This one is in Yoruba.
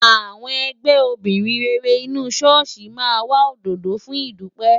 Àwọn ẹgbẹ́ obìnrin rere inú ṣọ́ọ̀ṣì máa ra òdòdó fún ìdúpẹ́.